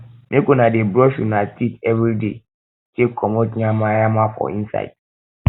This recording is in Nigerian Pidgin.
make una dey brush una teeth everyday take comot nyama nyama for inside